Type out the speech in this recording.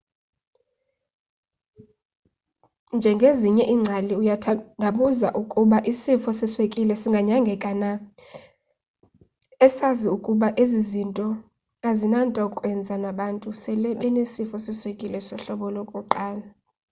njengezinye iingcali uyathandabuza ukuba ingaba isifo seswekile siyanyangeka na esazi ukuba ezi zinto azinanto kwenza nabantu esele benesifo seswekile sohlobo 1